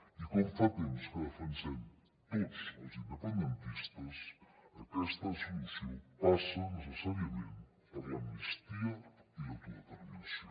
i com fa temps que defensem tots els independentistes aquesta solució passa necessàriament per l’amnistia i l’autodeterminació